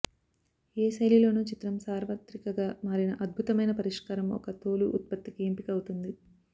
ఏ శైలిలోనూ చిత్రం సార్వత్రికగా మారిన అద్భుతమైన పరిష్కారం ఒక తోలు ఉత్పత్తికి ఎంపిక అవుతుంది